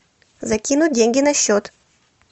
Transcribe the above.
закинуть деньги на счет